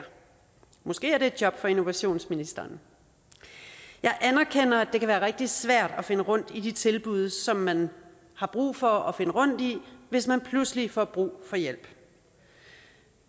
måske et job for innovationsministeren jeg anerkender at det kan være rigtig svært at finde rundt i de tilbud som man har brug for at finde rundt i hvis man pludselig får brug for hjælp